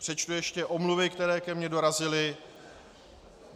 Přečtu ještě omluvy, které ke mně dorazily.